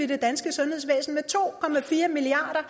det danske sundhedsvæsen med to milliard